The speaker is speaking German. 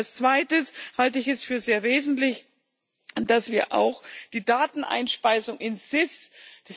Als Zweites halte ich es für sehr wesentlich, dass wir auch die Dateneinspeisung in das SIS gewährleisten.